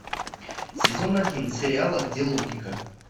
сезон один сериала где логика